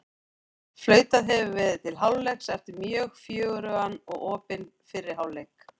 Flautað hefur verið til hálfleiks eftir mjög fjörugan og opinn fyrri hálfleik!